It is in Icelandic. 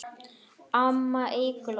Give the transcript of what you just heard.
Amma Eygló.